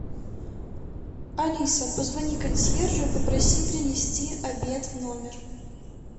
алиса позвони консьержу и попроси принести обед в номер